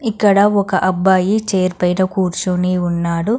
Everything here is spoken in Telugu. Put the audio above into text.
ఇక్కడ ఒక అబ్బాయి చైర్ పైన కూర్చుని ఉన్నాడు.